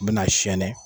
U bɛna siyɛn ne